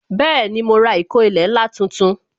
Bẹẹni, mo ra ìkó ilẹ̀ ńlá tuntun